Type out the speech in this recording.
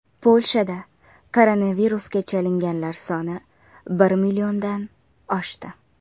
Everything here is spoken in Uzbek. Polshada koronavirusga chalinganlar soni bir milliondan oshdi.